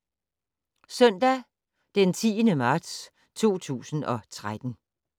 Søndag d. 10. marts 2013